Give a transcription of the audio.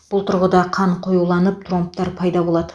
бұл тұрғыда қан қоюланып тромбтар пайда болады